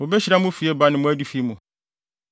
Wobehyira mo fieba mu ne mo adifi mu.